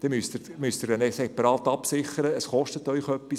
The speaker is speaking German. Diese müssen Sie separat absichern, und das kostet Sie etwas.